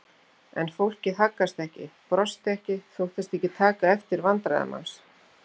En fólkið haggaðist ekki, brosti ekki, þóttist ekki taka eftir vandræðum hans.